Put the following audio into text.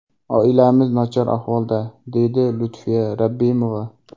Oilamiz nochor ahvolda”, deydi Lutfiya Rabbimova.